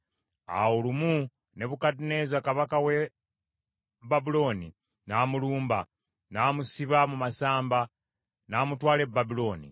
Awo lumu Nebukadduneeza kabaka w’e Babulooni n’amulumba, n’amusiba mu masamba, n’amutwala e Babulooni.